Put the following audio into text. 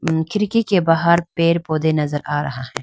अम् खिड़की के बाहर पेड़ पौधे नजर आ रहा है।